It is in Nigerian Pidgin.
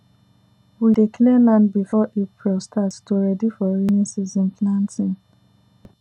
we dey clear land before april start to ready for rainy season planting